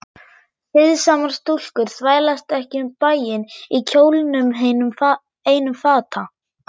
Siðsamar stúlkur þvælast ekki um bæinn í kjólnum einum fata